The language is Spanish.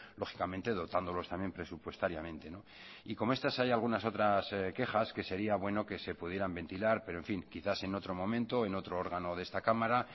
lógicamente dotándolos también presupuestariamente y como estas hay algunas otras quejas que sería bueno que se pudieran ventilar pero en fin quizás en otro momento en otro órgano de esta cámara